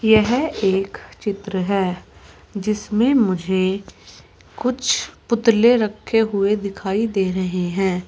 यह एक चित्र है जिसमें मुझे कुछ पुतले रखे हुए दिखाई दे रहे हैं।